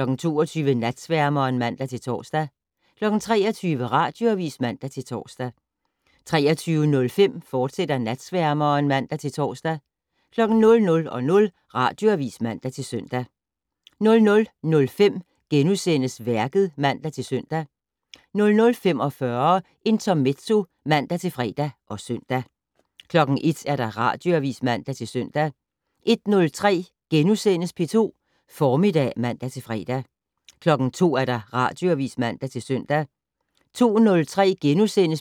22:00: Natsværmeren (man-tor) 23:00: Radioavis (man-tor) 23:05: Natsværmeren, fortsat (man-tor) 00:00: Radioavis (man-søn) 00:05: Værket *(man-søn) 00:45: Intermezzo (man-fre og søn) 01:00: Radioavis (man-søn) 01:03: P2 Formiddag *(man-fre) 02:00: Radioavis (man-søn) 02:03: